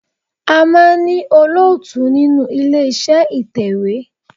A máa ń ní olóòtú nínú ilé iṣẹ́ ìtẹ̀wẹ́.